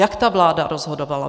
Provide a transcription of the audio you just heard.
Jak ta vláda rozhodovala?